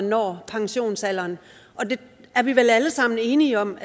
når pensionsalderen det er vi vel alle sammen enige om